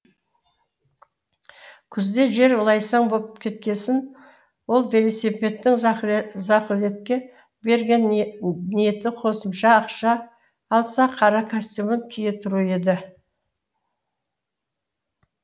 күзде жер лайсаң боп кеткесін ол велосипедтін зақылетке берген ниеті қосымша ақша алса қара костюмін кие тұру еді